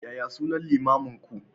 Yaya sunan limaminku?